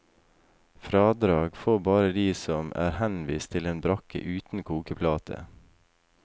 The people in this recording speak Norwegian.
Fradrag får bare de som er henvist til en brakke uten kokeplate.